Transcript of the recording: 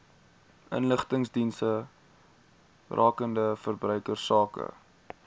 inligtingsdienste rakende verbruikersake